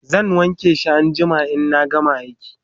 zan wanke shi anjima inna gama aiki